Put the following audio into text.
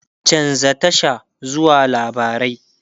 chanza Tasha zuwa labarai!